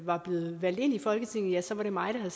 var blevet valgt ind i folketinget så var det mig der